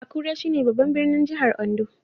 Akure, shine babban birnin jihar Ondo